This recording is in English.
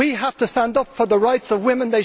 We have to stand up for the rights of women